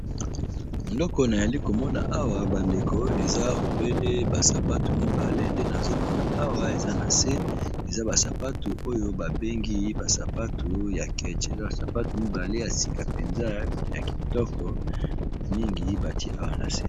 Eloko nayali komona awa bandeko, eza obele ba sapatu mibale nde nazo mona awa eza na se. Eza basapatu oyo babengi basapatu ya keche. Eza basapatu mibale ya sika mpenza, ya kitoko mingi ! Batie awa na se.